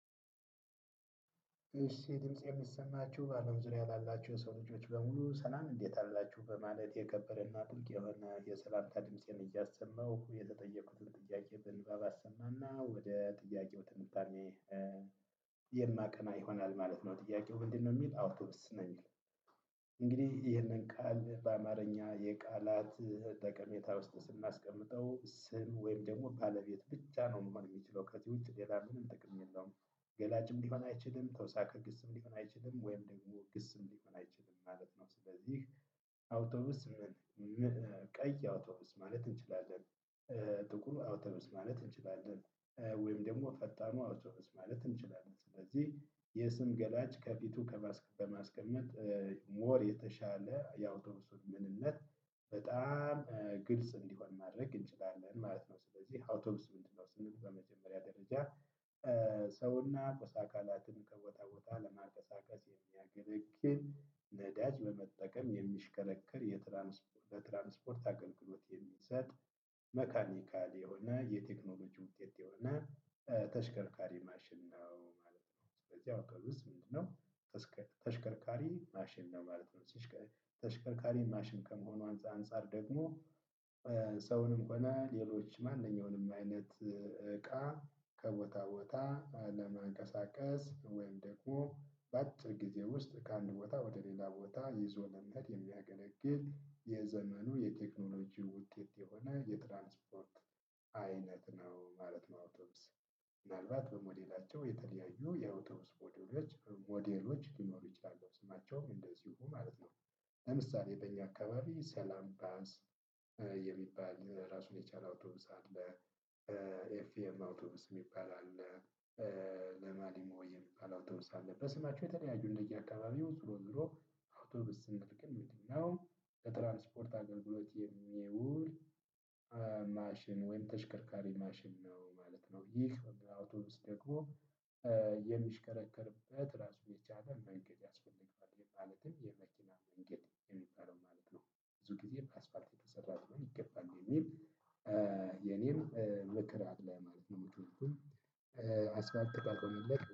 እሺ ድምፄ እሚሰማችሁ ባአለም ዙሪያ ላላችሁ የሰው ልጆች በሙሉ ሰላም እንዴት አላችሁ በማለት የከበረና ጥልቅ የሆነ የሰላምታ ድምፄን እያሰማሁ የተጠየቁትን ጥያቄ በንባብ አሰማና ወደ ጥያቄው ትንታኔ። እ የማቀና ይሆናል ማለት ነው ጥያቄው ምንድነው እሚል አውቶብስ ነው የሚል። እንግዲህ ይህንን ቃል በአማርኛ የቃላት ጠቀሜታ ውስጥ ስናስቀምጠው ስም ወይም ደሞ ባለቤት ብቻ ነው መሆን እሚችለው ከዚህ ውጪ ሌላ ምንም ጥቅም የለውም። ገላጭም ሊሆን አይችልም ተውሳከ ግስም ሊሆን አይችልም ወይም ደግሞ ግስም ሊሆን አይችልም ማለት ነው። ስለዚህ አውቶቡስ ቀይ አውቶቡስ ማለት እንችላለን። እ ጥቁር አውቶቡስ ማለት እንችላለን። ወይም ደሞ ፈጣኑ አውቶቡስ ማለት እንችላለን። ስለዚህ የስም ገላጭ ከፊቱ ከማስ ከማስቀመጥ እ ሞር የተሻለ የአውቶቡሶች ምንነት በጣም ግልጽ እንዲሆን ማድረግ እንችላለን ማለት ነው። ስለዚህ አውቶቡስ ምንድን ነው ስንል በመጀመሪያ ደረጃጃ። እ ሰውና ቁስ አካላትን ከቦታ ቦታ ለማንቀሳቀስ የሚያገለግል ነዳጅ በመጠቀም የሚሽከረከር የትራንስፖ ለትራንስፖርት አገልግሎት የሚሰጥ መካኒካል የሆነ የቴክኖሎጂ ውጤት የሆነ እ ተሽከርካሪ ማሽን ነው ማለት ነው። በዚያው አካል ውስጥ ምንድነው እስከ ተሽከርካሪ ማሽን ነው ማለት ነው። ተሽ ተሽከርካሪ ማሽን ከመሆኑ አንጻ አንፃር ደግሞ። ሰውንም ሆነ ሌሎች ማነኛውንም አይነት እቃ። ከቦታ ቦታ ለማንቀሳቀስ ወይም ደግሞ። በአጭር ጊዜ ውስጥ ከአንድ ቦታ ወደሌላ ቦታ ይዞ ለመሄድ የሚያገለግል የዘመኑ የቴክኖሎጂ ውጤት የሆነ የትራንስፓርት አይነት ነው ማለት ነው። አውቶቡስ ምን አልባት በሞዴላቸው የተለያዩ የአውቶቡስ ሞዴሎች ሞዴሎች ሊኖሩ ይችላሉ ስማቸው እንደዚሁ ማለት ነው። ለምሳሌ በእኛ አካባቢ ሰላም ባስ የሚባል ራሱን የቻለ አውቶቡስ አለ። ኤፍኤም አውቶቡስ እሚባል አለ። እ ሊማሊም የሚባል አውቶቡስ አለ። በስማቸው በተለያየ እንደየአካባቢው ዞሮ ዞሮ አውቶቡስ ስንመለከት ምንድን ነው? ለትራንስፖርት አገልግሎት የሚውል። ማሽን ወይም ተሽከርካሪ ማሽን ነው ማለት ነው። ይህ አውቶቡስ ደግሞ የሚሽከረከርበት ራሱን የቻለ መንገድ ያስፈልገዋል ማለትም የመኪና መንገድ እሚባለው ማለት ነው። ብዙ ጊዜ ከአስፋልት የተሰራ ሊሆን ይገባል የሚል። እ የኔም ምክራት ላይ ነው። እምቸኩል እ አስፋልት ካልሆነለት